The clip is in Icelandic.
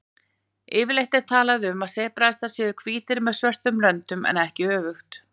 Yfirleitt er talað um að sebrahestar séu hvítir með svörtum röndum en ekki öfugt.